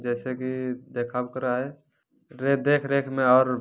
जैसे की देखा जा रहा है ये देख-रेख में और----